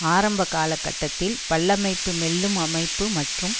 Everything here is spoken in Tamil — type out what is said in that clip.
ஆரம்ப கால கட்டத்தில் பல்லமைப்புமெல்லும் அமைப்பு மற்றும்